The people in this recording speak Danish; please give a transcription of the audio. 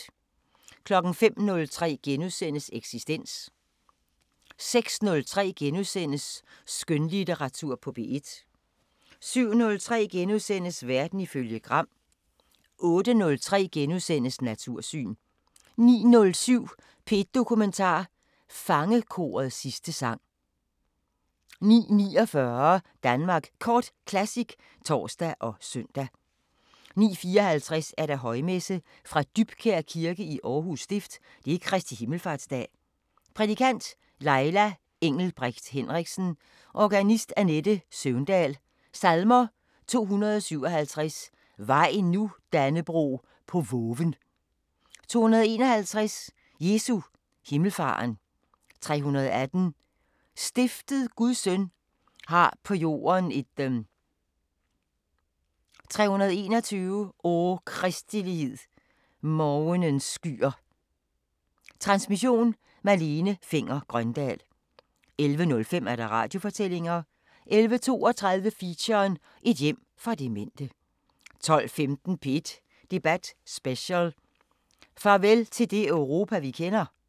05:03: Eksistens * 06:03: Skønlitteratur på P1 * 07:03: Verden ifølge Gram * 08:03: Natursyn * 09:07: P1 Dokumentar: Fangekorets sidste sang 09:49: Danmark Kort Classic (tor og søn) 09:54: Højmesse - Fra Dybkjær Kirke, Aarhus Stift. Kristi himmelfarts dag Prædikant: Laila Engelbrecht Henriksen. Organist: Annette Søvndal. Salmer: 257: Vaj nu, Dannebrog, på voven 251: Jesu himmelfaren 318: Stiftet Guds Søn har på jorden et 321: O kristelighed Morgenens skyer. Transmission: Malene Fenger-Grøndahl. 11:05: Radiofortællinger 11:32: Feature: Et hjem for demente 12:15: P1 Debat Special: Farvel til det Europa vi kender?